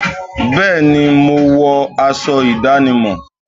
Bẹ́ẹ̀ni, mo wọ aṣọ ìdánimọ̀